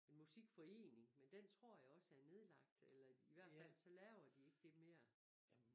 En musikforening men den tror jeg også er nedlagt eller i hvert fald laver de ikke det mere